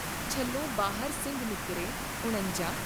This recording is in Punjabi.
ਝੱਲੋ ਬਾਹਰ ਸਿੰਘ ਨਿਕਰੇ॥ ਉਣੰਜਾ ॥